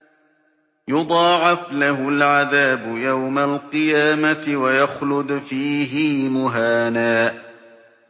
يُضَاعَفْ لَهُ الْعَذَابُ يَوْمَ الْقِيَامَةِ وَيَخْلُدْ فِيهِ مُهَانًا